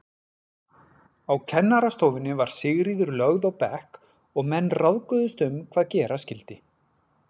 Á kennarastofunni var Sigríður lögð á bekk og menn ráðguðust um hvað gera skyldi.